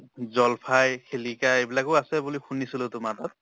জল্ফাই, শিলিকা এইবিলাকো আছে বুলি শুনিছিলো তোমাৰ তাত।